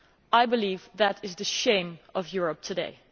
I believe that is the shame of Europe today.